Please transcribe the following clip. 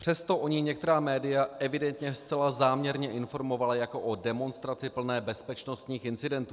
Přesto o ní některá média evidentně zcela záměrně informovala jako o demonstraci plné bezpečnostních incidentů.